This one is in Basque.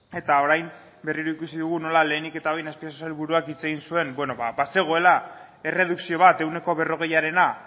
eta orain berriro ikusi dugu nola lehenik eta behin azpiazu sailburuak hitz egin zuen bazegoela erredukzio bat ehuneko berrogeiarena